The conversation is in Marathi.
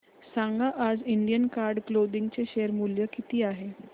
सांगा आज इंडियन कार्ड क्लोदिंग चे शेअर मूल्य किती आहे